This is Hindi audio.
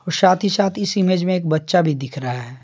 साथ ही साथ इस इमेज में एक बच्चा भी दिख रहा है।